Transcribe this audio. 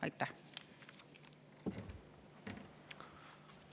Aitäh!